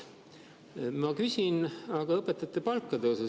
Ma küsin aga õpetajate palkade kohta.